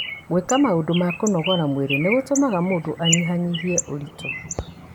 Gwĩka maũndũ ma kũnogora mwĩrĩ nĩ gũtũmaga mũndũ anyihanyihie ũritũ.